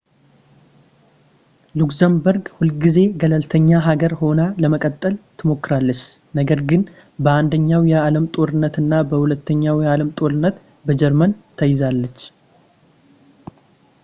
ሉክሰምበርግ ሁል ጊዜ ገለልተኛ ሀገር ሆና ለመቀጠል ትሞክራለች ነገር ግን በአንደኛው የዓለም ጦርነት እና በሁለተኛው የዓለም ጦርነት በጀርመን ተይዛለች